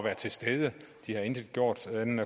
er til stede de havde intet gjort andet